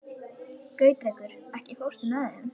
Gautrekur, ekki fórstu með þeim?